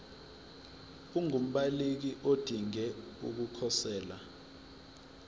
ungumbaleki odinge ukukhosela